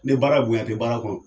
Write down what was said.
Ni baara bonyan te baara kɔnɔ